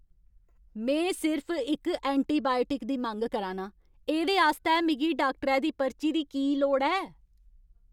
में सिर्फ इक एंटीबायोटिक दी मंग करा नां! एह्दे आस्तै मिगी डाक्टरै दी पर्ची दी की लोड़ ऐ?